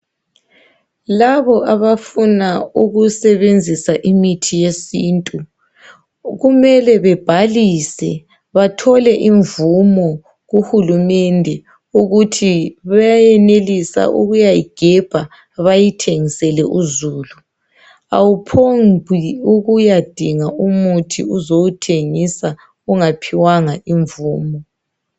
Labo abafuna ukusebenzisa imithi yesintu kumele bebhalise bathole imvumo kuhulumende ukuthi bayenelisa ukuyayigebha bayithengisele uzulu, awuphombi ukuyadinga umuthi uzowuthengisa ungaphiwanga imvumo.